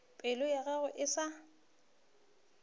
pelo ya gagwe e sa